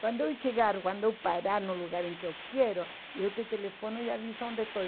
Quando eu chegar, quando eu parar no lugar em que eu quero, eu te telefono e aviso onde estou.